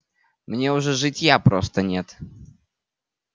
мне уже житья просто нет